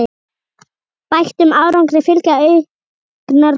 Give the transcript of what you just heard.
Bættum árangri fylgja auknar kröfur.